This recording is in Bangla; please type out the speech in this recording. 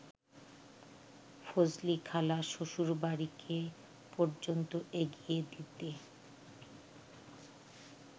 ফজলিখালা শ্বশুরবাড়িকে পর্যন্ত এগিয়ে দিতে